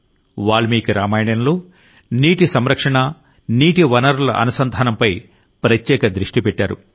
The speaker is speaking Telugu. వాల్మీకి రామాయణంలో నీటి సంరక్షణ నీటి వనరుల అనుసంధానంపై ప్రత్యేక దృష్టి పెట్టారు